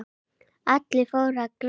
Allir fóru að gráta.